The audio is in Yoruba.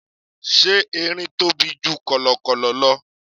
Ṣé Erin tóbi ju kọ̀lọ̀kọ̀lọ̀ lọ?